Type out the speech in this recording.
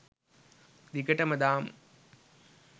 දිගටම දාමු.